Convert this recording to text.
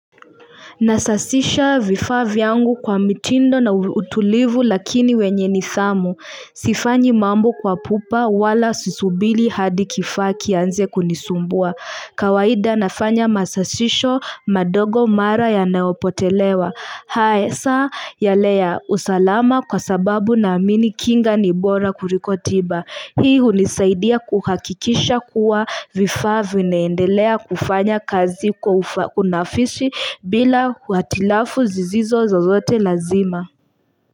Nasasisha vifaa vyangu kwa mitindo na utulivu lakini wenye nidhamu. Sifanyi mambo kwa pupa wala susubiri hadi kifaa kinze kunisumbua. Kawaida nafanya masasisho madogo mara yanayopotelewa. Hasa, saa yale usalama kwa sababu naamini kinga ni bora kuliko tiba. Hii unisaidia kuhakikisha kuwa vifaa vinaendelea kufanya kazi kwa unafiki bila hitilafu zisizo zoote lazima.